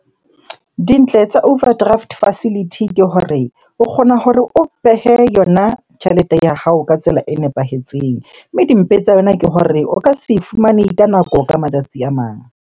Dintle tsa overdraft facility ke hore, o kgona hore o behe yona tjhelete ya hao ka tsela e nepahetseng. Mme dimpe tsa yona ke hore o ka se e fumane ka nako ka matsatsi a mang.